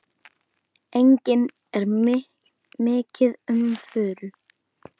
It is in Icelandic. Einnig er mikið um furu.